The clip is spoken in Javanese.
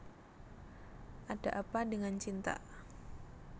Ada Apa Dengan Cinta